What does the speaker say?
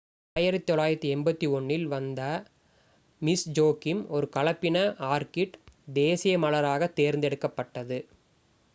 1981 ல் Vanda Miss Joaquim ஒரு கலப்பின ஆர்கிட் தேசிய மலராகத் தேர்ந்தெடுக்கப் பட்டது